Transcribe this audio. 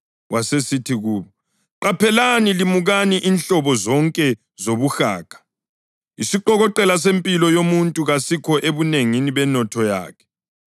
Wasesithi kubo, “Qaphelani! Limukani inhlobo zonke zobuhaga; isiqokoqela sempilo yomuntu kasikho ebunengini benotho yakhe.”